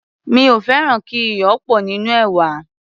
mí ò fẹràn kí iyò pò nínú èwà.